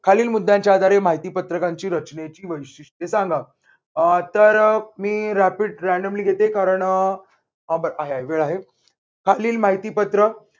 खालील मुद्द्यांच्या आधारे माहिती पत्रकांची रचनेची वैशिष्ट्ये सांगा. अह तर मी rapidly घेते कारण अह आह आहे वेळ आहे खालील माहिती पत्र